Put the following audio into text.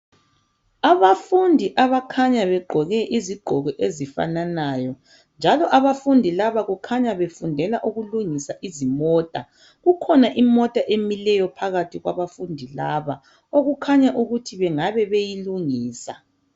Abafundi abakhanya begqoke izigqoko ezifananayo. Njalo abafundi laba kukhanya befundela ukulungisa izimota. Kukhona imota emileyo phakathi kwabafundi laba okukhanya ukuthi bengabe beyilungisa.